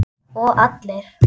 Og allir.